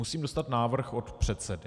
Musím dostat návrh od předsedy.